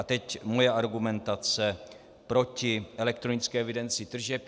A teď moje argumentace proti elektronické evidenci tržeb.